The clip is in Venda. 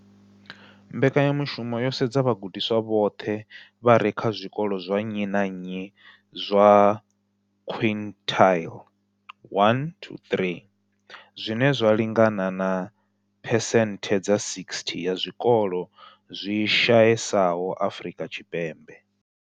Mbekanya mushumo yo sedza vhagudiswa vhoṱhe vha re kha zwikolo zwa nnyi na nnyi zwa quintile 1-3, zwine zwa lingana na phesenthe dza 60 ya zwikolo zwi shayesaho Afrika Tshipembe.